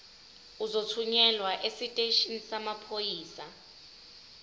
uzothunyelwa esiteshini samaphoyisa